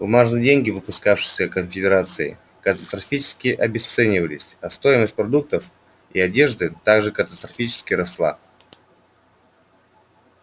бумажные деньги выпускавшиеся конфедерацией катастрофически обесценивались а стоимость продуктов и одежды так же катастрофически росла